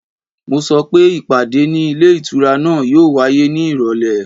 Mo sọ pé ìpàdé ní ilé ìtura náà yóò wáyé ní ìrọ̀lẹ́